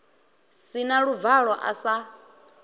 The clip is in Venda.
si na luvalo a sa